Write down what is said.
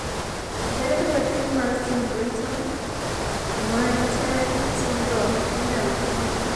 ere kaka tuo mar Singleton Merten syndrome inyalo fweny?